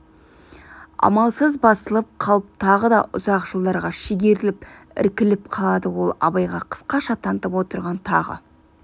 амалсыз басылып қалып тағы да ұзақ жылдарға шегеріліп іркіліп қалады ол абайға қысқаша танытып отырған тағы